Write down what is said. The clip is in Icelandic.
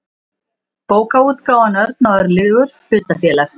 bókaútgáfan örn og örlygur hlutafélag